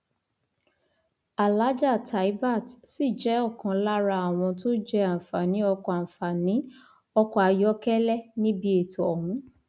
àlàájá taibat sì jẹ ọkan lára àwọn tó jẹ àǹfààní ọkọ àǹfààní ọkọ ayọkẹlẹ níbi ètò ọhún